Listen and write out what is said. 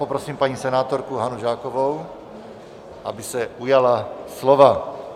Poprosím paní senátorku Hanu Žákovou, aby se ujala slova.